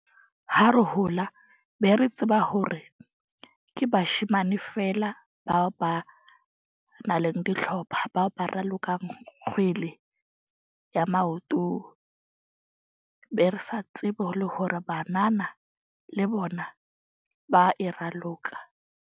Ha re hola be re tseba hore ke bashemane feela ba ba nang le dihlopha, ba ba ralokang kgwele ya maoto. Be re sa tsebe le hore banana le bona ba e raloka.